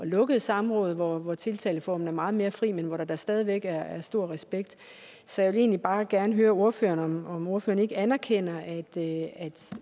lukkede samråd hvor hvor tiltaleformen er meget mere fri men hvor der da stadig væk er stor respekt så jeg vil egentlig bare gerne høre ordføreren om ordføreren ikke anerkender at